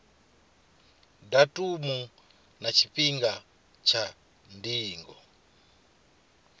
datumu na tshifhinga tsha ndingo